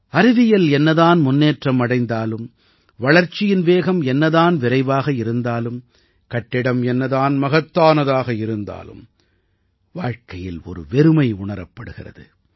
அறிவியல் என்ன தான் முன்னேற்றம் அடைந்தாலும் வளர்ச்சியின் வேகம் என்ன தான் விரைவாக இருந்தாலும் கட்டிடம் என்ன தான் மகத்தானதாக இருந்தாலும் வாழ்க்கையில் ஒரு வெறுமை உணரப்படுகிறது